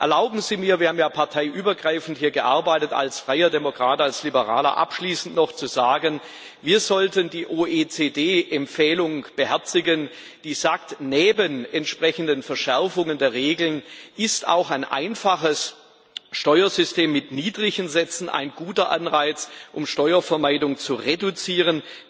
Erlauben Sie mir wir haben ja parteiübergreifend hier gearbeitet als freier Demokrat, als Liberaler abschließend noch zu sagen Wir sollten die OECD Empfehlung beherzigen, die sagt Neben entsprechenden Verschärfungen der Regeln ist auch ein einfaches Steuersystem mit niedrigen Sätzen ein guter Anreiz, um Steuervermeidung zu reduzieren.